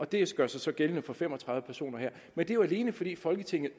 det gør sig så gældende for fem og tredive personer her men det er jo alene fordi folketinget